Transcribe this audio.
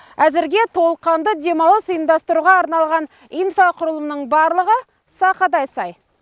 әзірге толыққанды демалыс ұйымдастыруға арналған инфрақұрылымның барлығы сақадай сай